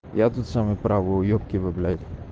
я тот самый правый уебки вы блять